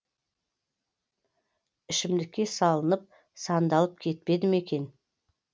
ішімдікке салынып сандалып кетпеді ме екен